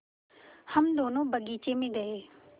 हम दोनो बगीचे मे गये